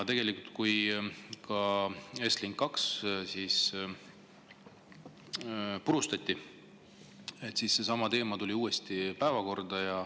Tegelikult ka siis, kui Estlink 2 purustati, tuli seesama teema uuesti päevakorda.